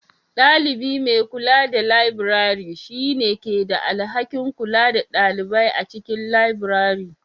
Ɗalibi mai kula da labirari, shi ne ke da alhakin kula da ɗalibai a cikin labirari.